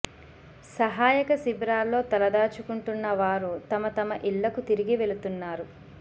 సహాయక శిబిరాల్లో తలదాచుకుంటున్న వారు తమ తమ ఇళ్ళకు తిరిగి వెళుతున్నారు